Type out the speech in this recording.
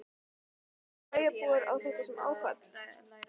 Björn: Líta bæjarbúar á þetta sem áfall?